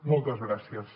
moltes gràcies